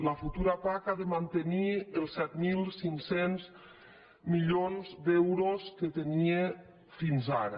la futura pac ha de mantenir els set mil cinc cents milions d’euros que tenia fins ara